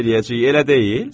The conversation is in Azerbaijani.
Kef eləyəcəyik, elə deyil?